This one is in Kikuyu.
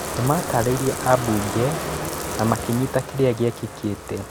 Nĩmatarĩirie ambunge na makĩnyita kĩrĩa gĩekĩkĩte.